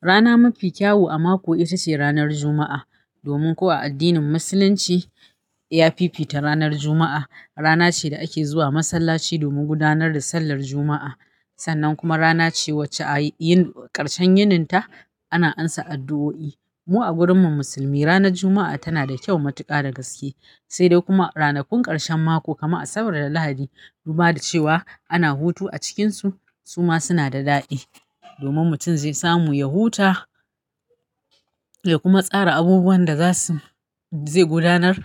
Rana mafi kyau a mako ita ce ranar Juma'a. Domin ko a addinin Musulunci, ya fifita ranar Juma'a. Rana ce da ake zuwa masallaci domin gudanar da sallar Juma'a. Sannan kuma rana ce wacce a ƙarshen yininta ana amsa addu'o'i. Mu a gurinmu Musulmi ranar Juma'a tana da kyau matuƙa da gaske. Sai dai kuma ranakun ƙarshen mako kamar Asabar da Lahadi. Duba da cewa ana hutu a cikinsu, su ma suna da daɗi domin mutum zai samu ya huta ya kuma tsara abubuwan da zai gudanar